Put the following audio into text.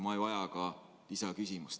Ma ei vaja ka lisaküsimust.